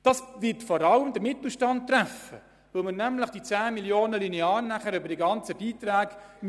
Die Kürzung würde vor allem den Mittelstand treffen, weil man die 10 Mio. Franken linear verteilen müsste.